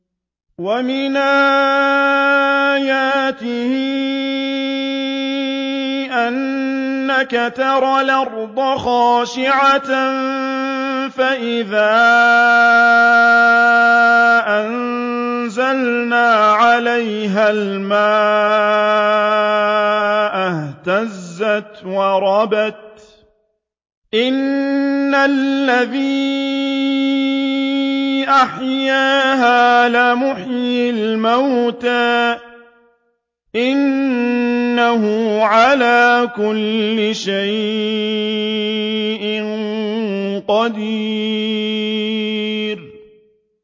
وَمِنْ آيَاتِهِ أَنَّكَ تَرَى الْأَرْضَ خَاشِعَةً فَإِذَا أَنزَلْنَا عَلَيْهَا الْمَاءَ اهْتَزَّتْ وَرَبَتْ ۚ إِنَّ الَّذِي أَحْيَاهَا لَمُحْيِي الْمَوْتَىٰ ۚ إِنَّهُ عَلَىٰ كُلِّ شَيْءٍ قَدِيرٌ